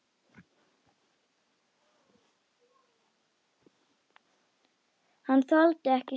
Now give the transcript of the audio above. Hann þoldi ekki sjálfan sig.